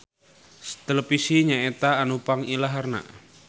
Televisi nyaeta anu pangilaharna.